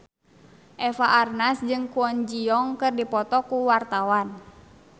Eva Arnaz jeung Kwon Ji Yong keur dipoto ku wartawan